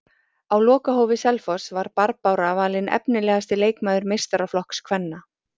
Á lokahófi Selfoss var Barbára valin efnilegasti leikmaður meistaraflokks kvenna.